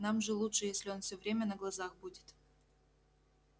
нам же лучше если он все время на глазах будет